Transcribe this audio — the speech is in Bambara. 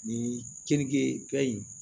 Ni keninge fɛn in